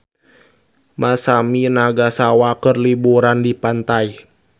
Masami Nagasawa keur liburan di pantai